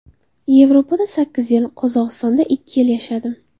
Yevropada sakkiz yil, Qozog‘istonda ikki yil yashadim.